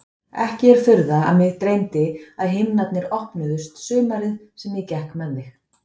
Ekki er furða að mig dreymdi að himnarnir opnuðust sumarið sem ég gekk með þig.